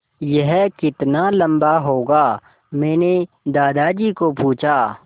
यह कितना लम्बा होगा मैने दादाजी को पूछा